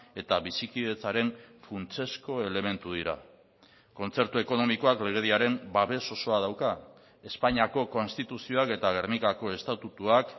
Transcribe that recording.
eta bizikidetzaren funtsezko elementu dira kontzertu ekonomikoak legediaren babes osoa dauka espainiako konstituzioak eta gernikako estatutuak